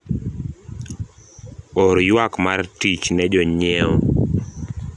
or ywak mar tich ne jonyiewo